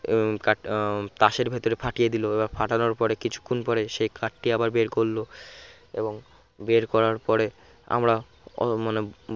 ওই card তাসের ভেতর ফাটিয়ে দিলো এবার পাঠানোর পরে কিছুক্ষণ পরে সে card টি আবার বের করল এবং বের করার পরে আমরা অ মানে